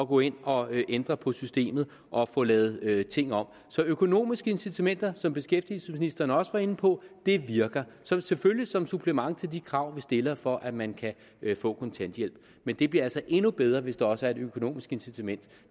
gå ind og ændre på systemet og få lavet ting om så økonomiske incitamenter som beskæftigelsesministeren også var inde på virker selvfølgelig som supplement til de krav vi stiller for at man kan få kontanthjælp men det bliver altså endnu bedre hvis der også er et økonomisk incitament